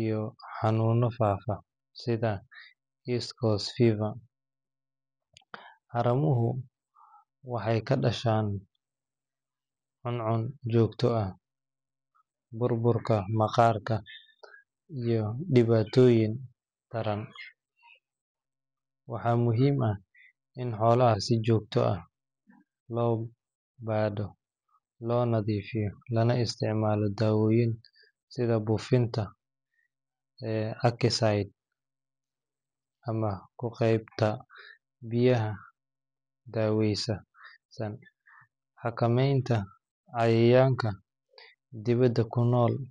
iyo xanuunno faafa sida East Coast Fever. Haramuhu waxay ka dhashaan cuncun joogto ah, burburka maqaarka, iyo dhibaatooyin taran. Waxaa muhiim ah in xoolaha si joogto ah loo baadho, loo nadiifiyo, lana isticmaalo daawooyin sida buufinta acaricides ama ku qubeynta biyaha daaweysan. Xakameynta cayayaanka dibadda ku noo.